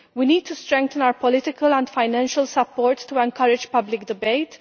We need to strengthen our political and financial support to encourage public debate